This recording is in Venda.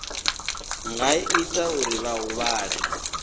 nga ita uri vha huvhale